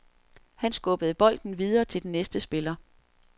Han skubbede bolden videre til den næste spiller.